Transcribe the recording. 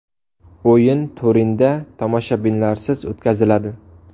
O‘yin Turinda tomoshabinlarsiz o‘tkaziladi.